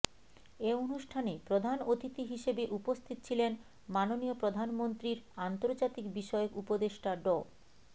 এ অনুষ্ঠানে প্রধান অতিথি হিসেবে উপস্থিত ছিলেন মাননীয় প্রধানমন্ত্রীর আন্তর্জাতিক বিষয়ক উপদেষ্টা ড